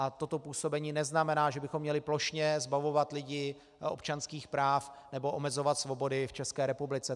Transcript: A toto působení neznamená, že bychom měli plošně zbavovat lidi občanských práv nebo omezovat svobody v České republice.